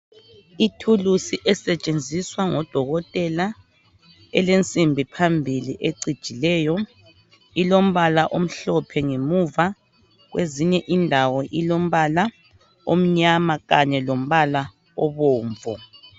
Ithulusi esetshenziswa ngodokotela elensibi phambili ecijileyo ilombala omhlophe ngemuva. Kwezinye indawo ilombala omnyama Kanye lombala obomvu.